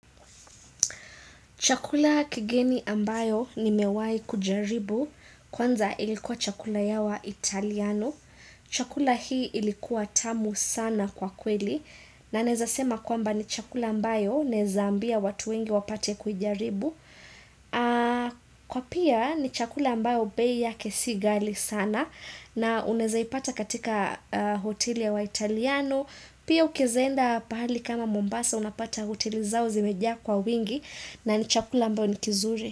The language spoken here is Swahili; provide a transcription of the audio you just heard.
Chakula kigeni ambayo nimewai kujaribu, kwanza ilikuwa chakula ya wa italiano. Chakula hii ilikuwa tamu sana kwa kweli. Na naeza sema kwamba ni chakula ambayo naeza ambia watu wengi wapate kuijaribu. Kwa pia ni chakula ambayo bei yake si ghali sana. Na unaeza ipata katika hoteli ya wa italiano. Pia ukaeza enda pahali kama Mombasa unapata hoteli zao zimejaa kwa wingi. Na ni chakula ambayo ni kizuri.